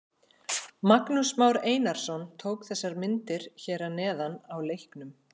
Magnús Már Einarsson tók þessar myndir hér að neðan á leiknum.